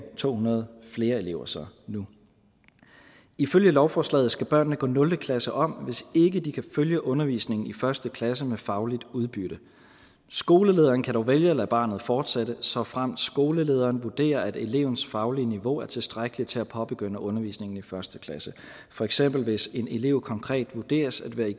to hundrede flere elever så nu ifølge lovforslaget skal børnene gå nul klasse om hvis ikke de kan følge undervisningen i første klasse med fagligt udbytte skolelederen kan dog vælge at lade barnet fortsætte såfremt skolelederen vurderer at elevens faglige niveau er tilstrækkeligt til at påbegynde undervisningen i første klasse for eksempel hvis en elev konkret vurderes at være i